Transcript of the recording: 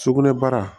Sugunɛbara